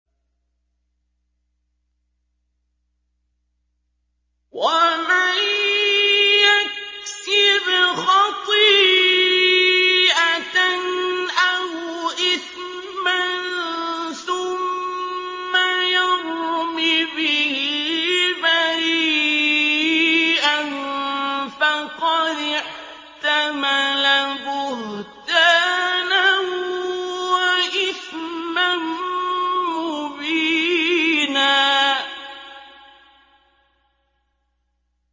وَمَن يَكْسِبْ خَطِيئَةً أَوْ إِثْمًا ثُمَّ يَرْمِ بِهِ بَرِيئًا فَقَدِ احْتَمَلَ بُهْتَانًا وَإِثْمًا مُّبِينًا